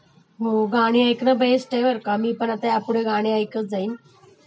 हो गाणी ऐकणं बेस्ट आहे बर का.. मी पण ह्यापुढे गाणी ऐकत जाईन.